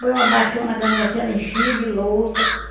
Põe uma baciona grande assim, ela enchia de louça.